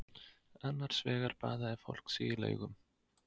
Annars vegar baðaði fólk sig í laugum.